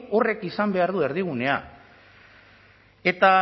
horrek izan behar du erdigunea eta